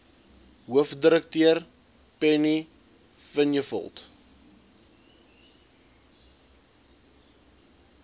hoofdirekteur penny vinjevold